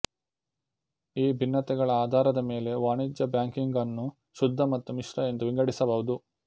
ಈ ಭಿನ್ನತೆಗಳ ಅಧಾರದ ಮೆಲೆ ವಾಣಿಜ್ಯ ಬ್ಯಾಂಕಿಂಗನ್ನು ಶುದ್ಧ ಮತ್ತು ಮಿಶ್ರ ಎಂದು ವಿಂಗಡಿಸಬಹುದು